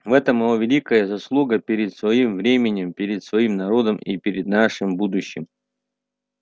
в этом его великая заслуга перед своим временем перед своим народом и перед нашим будущим